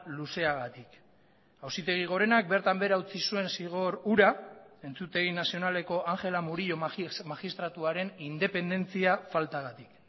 luzeagatik auzitegi gorenak bertan behera utzi zuen zigor hura entzutegi nazionaleko ángela murillo magistratuaren independentzia faltagatik